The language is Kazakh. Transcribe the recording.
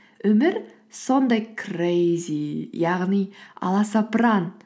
өмір сондай крэйзи яғни аласапыран